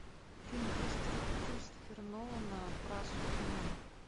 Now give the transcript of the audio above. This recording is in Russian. фильм кристофера нолана про супермена